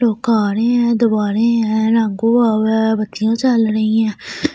Do कारे है दवारे है है बखिया चल रही है ।